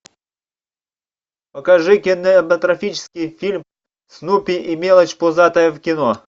покажи кинематографический фильм снупи и мелочь пузатая в кино